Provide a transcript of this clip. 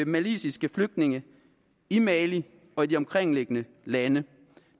maliske flygtninge i mali og de omkringliggende lande